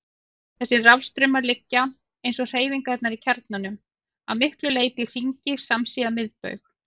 Þessir rafstraumar liggja, eins og hreyfingarnar í kjarnanum, að miklu leyti í hringi samsíða miðbaug.